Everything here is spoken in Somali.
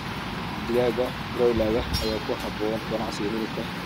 Digaagga broiler ayaa ku habboon ganacsiga hilibka.